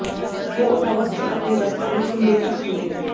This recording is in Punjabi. ਉਹ ਓਟਾਵਾ ਸਥਿਤ ਆਪਣੇ ਦਫਤਰ ਵਿਚ ਹੀ ਮਿ੍ਰਤਕ ਮਿਲੇ